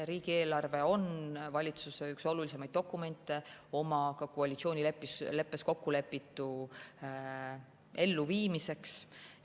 Riigieelarve on üks valitsuse olulisimaid dokumente koalitsioonileppes kokkulepitu elluviimiseks.